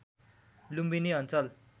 लुम्बिनी अञ्चल